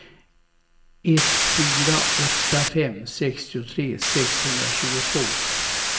ett fyra åtta fem sextiotre sexhundratjugotvå